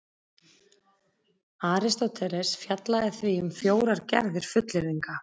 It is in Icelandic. Aristóteles fjallaði því um fjórar gerðir fullyrðinga: